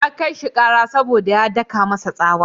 Ya kai shi ƙara saboda ya daka masa tsawa.